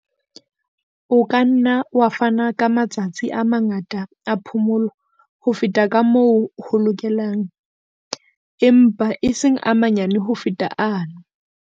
O ka nna wa fana ka matsatsi a mangata a phomolo ho feta ka moo ho lokelang, empa e seng a manyane ho feta ano.